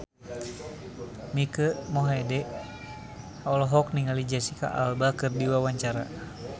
Mike Mohede olohok ningali Jesicca Alba keur diwawancara